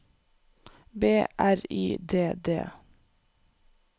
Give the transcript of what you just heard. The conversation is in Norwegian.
B R Y D D